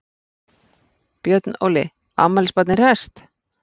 Björn Óli, afmælisbarnið hresst?